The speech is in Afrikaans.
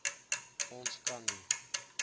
ons kan nie